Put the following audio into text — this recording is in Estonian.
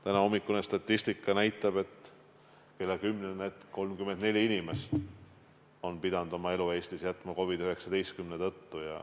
Tänahommikune kella kümnene statistika näitab, et 34 inimest Eestis on pidanud oma elu jätma COVID-19 tõttu.